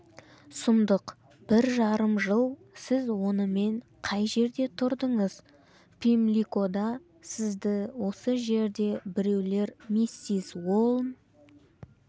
сұмдық бір жарым жыл сіз онымен қай жерде тұрдыңыз пимликода сізді осы жерде біреулер миссис уолн